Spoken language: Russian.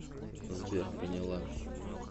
сбер поняла